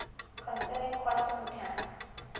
concerning quantum mechanics